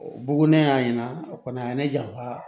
Bugulen y'a ɲɛna o kɔni a ye ne janfa